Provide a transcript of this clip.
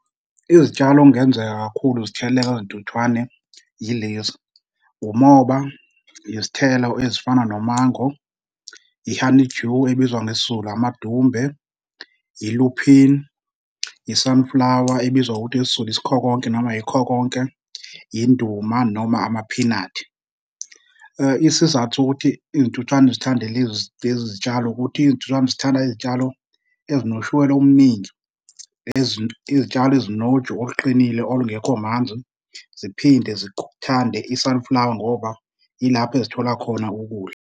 Izitshalo okungenzeka kakhulu zitheleleke ngezintuthwane yilezi, umoba, izithelo ezifana nomango, i-honeydew ebizwa ngesiZulu amadumbe, yi-lupin, yi-sunflower ebizwa ngokuthi isiZulu isikhokonke noma yikhokonke, induma noma amaphinathi. Isizathu sokuthi izintuthwane zithande lezi zitshalo ukuthi izintuthwane zithanda izitshalo ezinoshukela omningi , izitshalo ezinoju oluqinile olungekho manzi, ziphinde zithande i-sunflower ngoba yilapho ezithola khona ukudla.